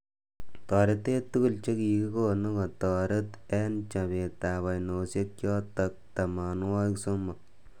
Toretet tukul chekikonu kotereti eng chobet ab ainoshek chotok tamanwagik somok.